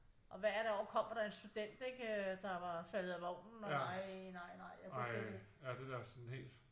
Og hvert år kommer der en student ikke øh der var faldet af vognen og nej nej nej jeg kunne slet ikke